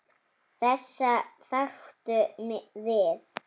Þessa þarftu við.